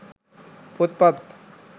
පොත්පත්